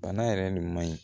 Bana yɛrɛ nin man ɲi